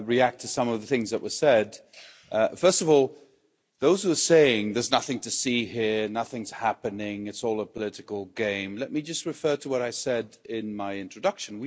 Mr President, let me react to some of the things that were said. First of all, those who are saying, there's nothing to see here, nothing's happening, it's all a political game', let me just refer to what I said in my introduction.